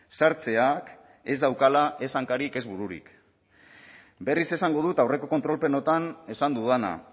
sartzeak ez daukala ez hankarik ez bururik berriz esango dut aurreko kontrol plenotan esan dudana